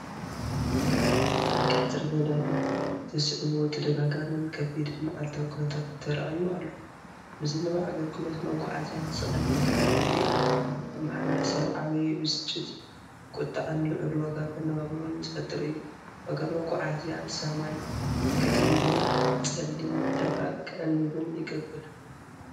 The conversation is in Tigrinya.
ብሰንኪ ሕጽረት ነዳዲ ዘስዕቦ ተደጋጋምን ከቢድን መዓልታዊ ኩነታት ተራእዩ ኣሎ። ምዝንባዕ ኣገልግሎት መጓዓዝያን ስቓይ ህዝብን ዘርኢ እዩ። ኣብ ሕብረተሰብ ዓቢ ብስጭት፣ ቁጥዐን ልዑል ዋጋ መነባብሮን ዝፈጥር እዩ፣ ዋጋ መጓዓዝያ ሰማይ ክድይብን ጸሊም ዕዳጋ ክዕንብብን ይገብር።